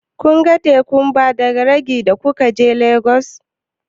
Kun ga tekun Badagri da kuka je Legas?